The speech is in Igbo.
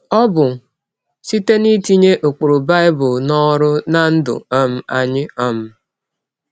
Ọ bụ site n’itinye ụkpụrụ Bible n’ọrụ ná ndụ um anyị. um